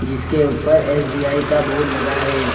इसके ऊपर एस_बी_आई का बोर्ड लगा है।